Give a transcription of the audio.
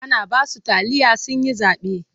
An ba su taliya sun yi zaɓe.